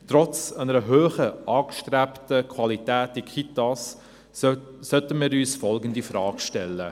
Trotz einer hohen angestrebten Qualität in den Kitas sollten wir uns folgende Frage stellen: